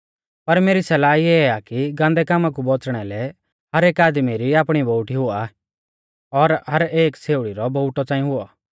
पर मेरी सलाह इऐ आ कि गान्दै कामा कु बौच़णा लै हर एक आदमी री आपणी बोउटी हुआ और हर एक छ़ेउड़ी रौ बोउटौ च़ांई हुऔ